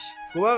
Yavaş.